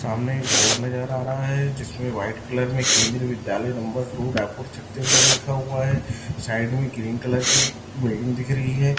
सामने एक बोर्ड नजर आ रहा है जिसमें व्हाइट कलर में केंद्रीय विद्यालय नंबर दो रायपुर छत्तीसगढ़ लिखा हुआ है साइड में ग्रीन कलर की बिल्डिंग दिख रही है।